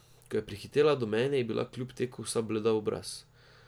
Ko je prihitela do mene, je bila kljub teku vsa bleda v obraz.